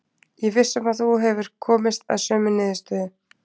Ég er viss um að þú hefur komist að sömu niðurstöðu.